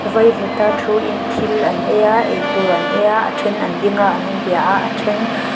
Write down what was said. vaivuta thu in thil an ei a eitur an eia a a then an ding a an in bia a a then--